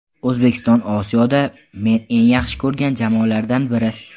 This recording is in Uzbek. O‘zbekiston Osiyoda men eng yaxshi ko‘rgan jamoalardan biri.